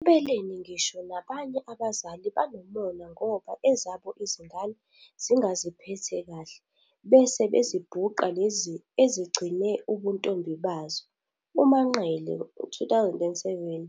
Empeleni ngisho nabanye abazali banomona ngoba ezabo izingane zingaziphethe kahle bese bezibhuqa lezi ezigcine ubuntombi bazo. UManqele, 2007,